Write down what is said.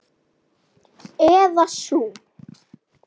Eða sú.